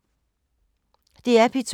DR P2